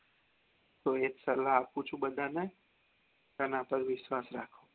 હું એજ સલાહ આપું છુ બધા ને પર વિશ્વાસ રાખો